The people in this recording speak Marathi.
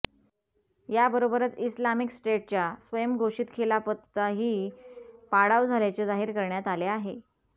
या बरोबरच इस्लामिक स्टेटच्या स्वयंघोषित खिलाफतचाही पाडाव झाल्याचे जाहीर करण्यात आले आहे